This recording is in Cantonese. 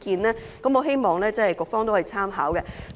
我希望局方可以參考有關意見。